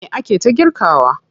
Me ake ta girkawa?